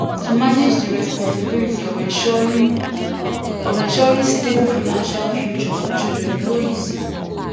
to manage di responsibility of ensuring of ensuring stable financial future for children no easy